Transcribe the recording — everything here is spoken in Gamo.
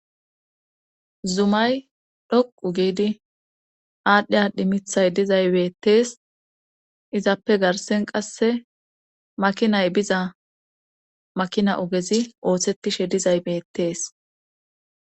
Zumay dhoqu giidi aadhdhi adhi mithay dizay beettees izappe garsen qasse makinay biza makina ogezi ooththettishe dizay beettees